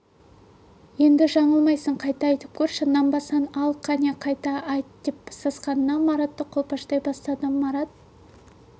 енді жаңылмайсың қайта айтып көрші нанбасаң ал қане қайта айт деп сасқанынан маратты қолпаштай бастады марат